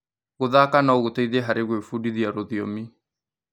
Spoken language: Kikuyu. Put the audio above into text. Gũthaka no gũteithie harĩ gwĩbundithia rũthiomi.